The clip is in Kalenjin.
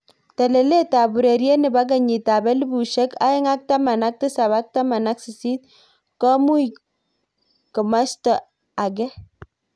Telelet ab ureriet nebo kenyit ab elipushek aeng ak taman ak tisap ak taman ak sisit komui kimosta age.